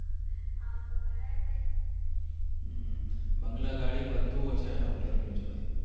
બંગલા ગાડી બધું હોય છે આ doctor ની જોડે